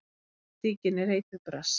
Pólitíkin er eiturbras.